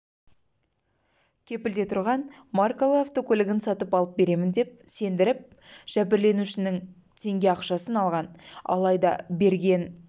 кепілде тұрған маркалы автокөлігін сатып алып беремін деп сендіріп жәбірленушінің теңге ақшасын алған алайда берген